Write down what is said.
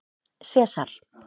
Sesar